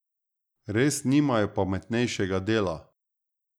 Res nimajo pametnejšega dela?